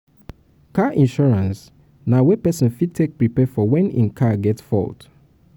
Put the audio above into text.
car insurance na way wey person fit take preapre for when im car get fault